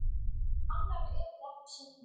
Annarra yrði ekki saknað.